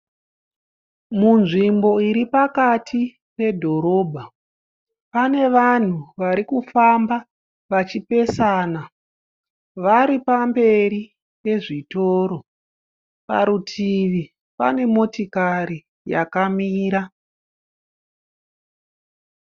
Munzvimbo iri pakati pe dhorobha. Pane vanhu varikufamba vachipesana, varipamberi pezvitoro. Parutivi pane motikari yakamira.